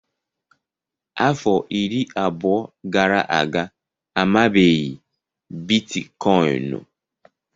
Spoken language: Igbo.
Afọ iri abụọ gara aga, amabeghị Biticoinu.